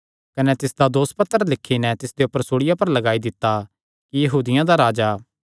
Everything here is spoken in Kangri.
कने तिसदा दोसपत्र लिखी नैं तिसदे ऊपर सूल़िया पर लगाई दित्ता कि यहूदियां दा राजा